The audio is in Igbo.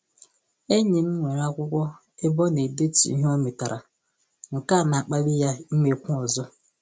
Enyi m nwere akwụkwọ ebe ọ na-edetu ihe o metara, nke a na-akpali ya imekwu ọzọ